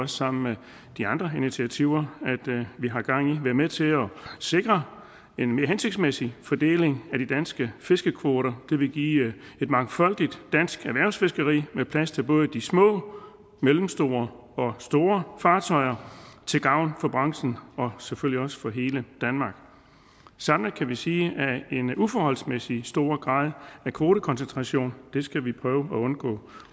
sammen med de andre initiativer vi har gang i være med til at sikre en mere hensigtsmæssig fordeling af de danske fiskekvoter det vil give et mangfoldigt dansk erhvervsfiskeri med plads til både de små mellemstore og store fartøjer til gavn for branchen og selvfølgelig også for hele danmark samlet kan vi sige at en uforholdsmæssig stor grad af kvotekoncentration skal vi prøve at undgå